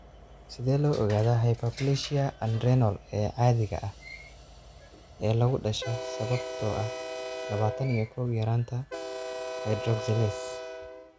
Sidee loo ogaadaa hyperplasia adrenal ee aan caadiga ahayn ee lagu dhasho sababtoo ah labatan iyo kow yaraanta hydroxylase?